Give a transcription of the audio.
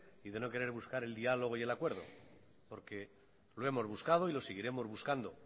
y de no querer buscar el diálogo y el acuerdo porque lo hemos buscado y lo seguiremos buscando